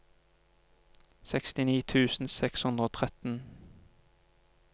sekstini tusen seks hundre og tretten